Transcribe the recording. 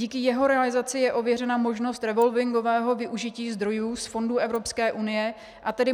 Díky jeho realizaci je ověřena možnost revolvingového využití zdrojů z fondů Evropské unie, a tedy